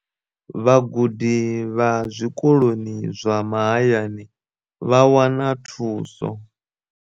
Vhagudi vha zwikoloni zwa mahayani vha wana thuso.